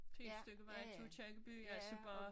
Pænt stykke vej til Aakirkeby altså bare